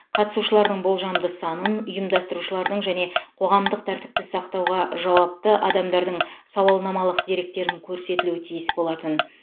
қатысушылардың болжамды санын ұйымдастырушылардың және қоғамдық тәртіпті сақтауға жауапты адамдардың сауалнамалық деректерін көрсетілуі тиіс болатын